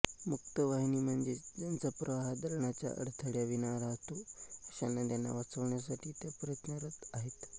मुक्तवाहिनी म्हणजेच ज्यांचा प्रवाह धरणाच्या अडथळ्याविना वाहतो अशा नद्यांना वाचवण्यासाठी त्या प्रयत्नरत आहेत